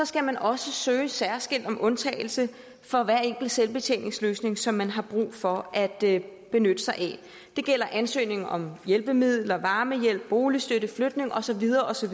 skal man også søge særskilt om undtagelse fra hver enkelt selvbetjeningsløsning som man har brug for at benytte sig af det gælder ansøgninger om hjælpemidler varmehjælp boligstøtte flytning og så videre og så